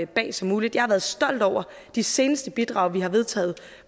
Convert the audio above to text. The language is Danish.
bag som muligt jeg har været stolt over de seneste bidrag vi har vedtaget